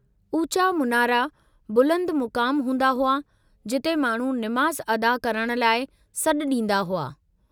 उचा मुनारा बुलंद मुकाम हूंदा हुआ जिते माण्हू निमाज़ अदा करण लाइ सॾु ॾींदा हुआ।